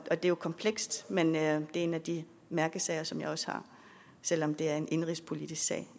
og det er komplekst men det er en af de mærkesager som jeg også har selv om det er en indenrigspolitisk sag